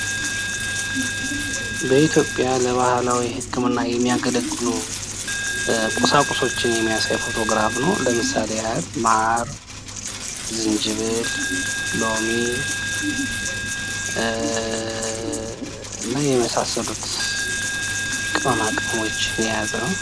በኢትዮጵያ ለባህላዊ ህክምና የሚያገለግሉ ቁሳቁሶችን የሚያሳይ ፎቶግራፍ ነው። ለምሳሌ ያህል ማር ዝንጅብል ሎሚ እና የመሳሰሉት ቅመማ ቅመሞችን የያዘ ነው።